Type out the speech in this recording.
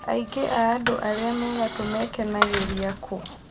Aingĩ a andũ arĩa me ngatũ mekenangĩria kũ